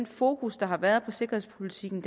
fokus der har været på sikkerhedspolitikken